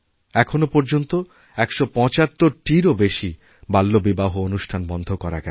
এখনও পর্যন্ত ১৭৫টিরও বেশি বাল্যবিবাহঅনুষ্ঠান বন্ধ করা গেছে